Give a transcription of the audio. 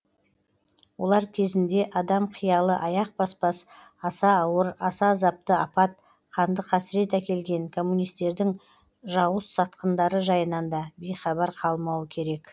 олар кезінде адам қиялы аяқ баспас аса ауыр аса азапты апат қанды қасірет әкелген коммунисттердің жауыз сатқындары жайынан да бейхабар қалмауы керек